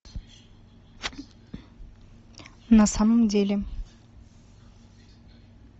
на самом деле